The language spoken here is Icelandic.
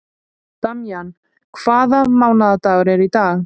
Damjan, hvaða mánaðardagur er í dag?